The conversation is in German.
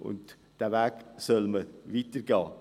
Diesen Weg soll man weitergehen.